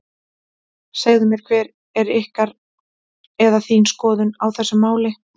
Segðu mér hver er ykkar, eða þín skoðun á þessu máli?